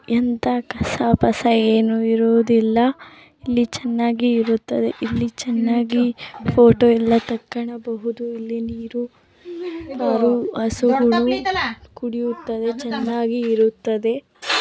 ಎಂಥಾ ಕಸ ಪಸ ಏನು ಇರುವುದಿಲ್ಲ ಇಲ್ಲಿ ಚೆನ್ನಾಗಿ ಇರುತ್ತದೆ ಇಲ್ಲಿ ಚೆನ್ನಾಗಿ ಫೋಟೋ ಎಲ್ಲ ತಕ್ಕೊಳ್ಳಬಹುದು ಇಲ್ಲಿ ನೀರು ಕರು ಹಸುಗಳು ಕುಡಿಯುತ್ತವೆ ಚೆನ್ನಾಗಿ ಇರುತ್ತದೆ.